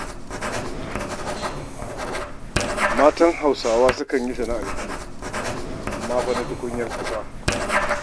Matan Hausawa sukan yi sana'ar gini, amma fa na tukunyar ƙasa.